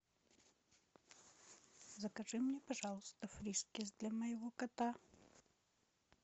закажи мне пожалуйста фрискис для моего кота